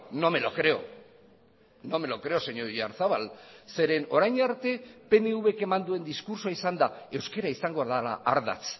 no me lo creo no me lo creo señor oyarzabal zeren orain arte pnvk eman duen diskurtsoa izan da euskara izango dela ardatz